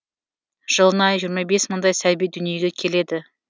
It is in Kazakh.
жылына жиырма бес мыңдай сәби дүниеге келеді